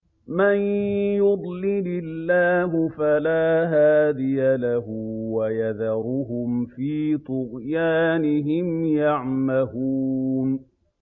مَن يُضْلِلِ اللَّهُ فَلَا هَادِيَ لَهُ ۚ وَيَذَرُهُمْ فِي طُغْيَانِهِمْ يَعْمَهُونَ